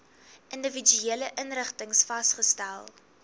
individuele inrigtings vasgestel